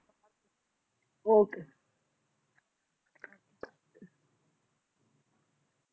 ਉਹ ਕੇ